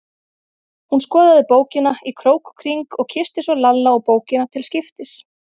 Hún skoðaði bókina í krók og kring og kyssti svo Lalla og bókina til skiptis.